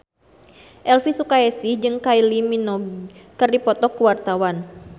Elvy Sukaesih jeung Kylie Minogue keur dipoto ku wartawan